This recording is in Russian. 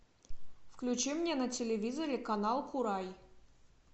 включи мне на телевизоре канал курай